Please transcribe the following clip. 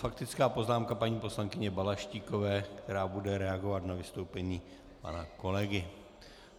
Faktická poznámka paní poslankyně Balaštíkové, která bude reagovat na vystoupení pana kolegy.